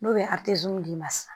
N'o bɛ d'i ma sisan